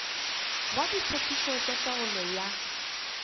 ya ditshepetšo tša taolo ya